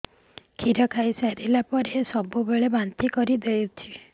କ୍ଷୀର ଖାଇସାରିଲା ପରେ ସବୁବେଳେ ବାନ୍ତି କରିଦେଉଛି